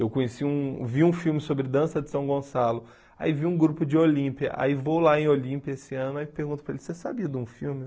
Eu conheci um vi um filme sobre dança de São Gonçalo, aí vi um grupo de Olímpia, aí vou lá em Olímpia esse ano e pergunto para ele, você sabia de um filme?